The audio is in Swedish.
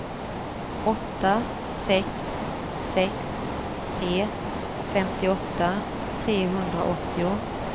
åtta sex sex tre femtioåtta trehundraåttio